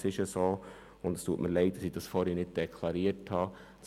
Es tut mir leid, dass ich das zuvor nicht deklariert habe, aber es ist so: